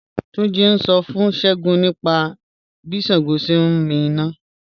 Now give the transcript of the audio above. Túnjí́ ń ṣọ́ fún Ṣẹ́gúǹ nípa bí Ṣàngó sẹ̀ ǹ mí iná